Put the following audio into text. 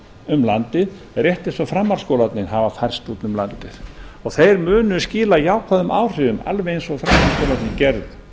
um landið rétt eins og framhaldsskólarnir hafa færst út um landið þeir munu skila jákvæðum áhrifum alveg eins og framhaldsskólarnir gerðu